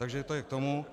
Takže to je k tomu.